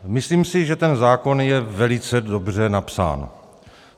Myslím si, že ten zákon je velice dobře napsán.